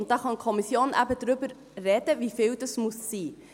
Wie viel es sein muss, darüber kann die Kommission eben sprechen.